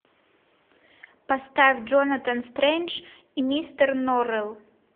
поставь джонатан стрендж и мистер норрелл